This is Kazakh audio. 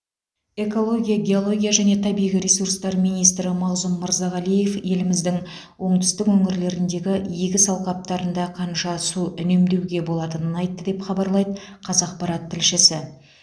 экология геология және табиғи ресурстар министрі мағзұм мырзағалиев еліміздің оңтүстік өңірлеріндегі егіс алқаптарында қанша су үнемдеуге болатынын айтты деп хабарлайды қазақпарат тілшісі